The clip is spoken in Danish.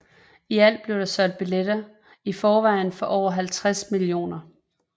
I alt blev der solgt billetter i forvejen for over 50 mio